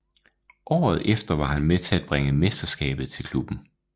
Året efter var han med til at bringe mesterskabet til klubben